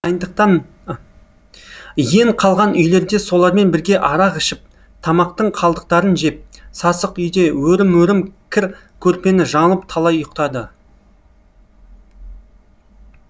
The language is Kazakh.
иен қалған үйлерде солармен бірге арақ ішіп тамақтың қалдықтарын жеп сасық үйде өрім өрім кір көрпені жамылып талай ұйықтады